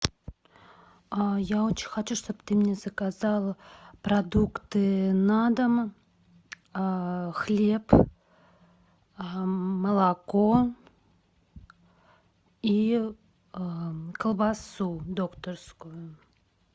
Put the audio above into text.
я очень хочу чтоб ты мне заказала продукты на дом хлеб молоко и колбасу докторскую